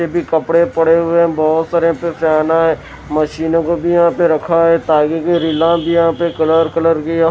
भी कपड़े पड़े हुए हैं बहुत सारे पे फैना है मशीनों को भी यहाँ पे रखा है ताकि के रिला भी यहाँ पे कलर कलर के --